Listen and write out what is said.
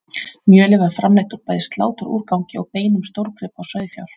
mjölið er framleitt úr bæði sláturúrgangi og beinum stórgripa og sauðfjár